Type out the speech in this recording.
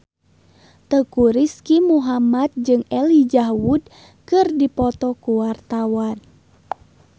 Teuku Rizky Muhammad jeung Elijah Wood keur dipoto ku wartawan